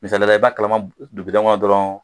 Misali la i bɛ kalama dɔrɔn